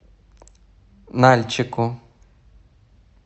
нальчику